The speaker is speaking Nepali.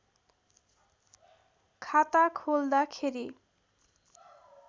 खाता खोल्दाखेरि